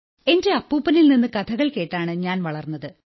എന്റെ അപ്പൂപ്പനിൽ നിന്നു കഥകൾ കേട്ടാണ് ഞാൻ വളർന്നത്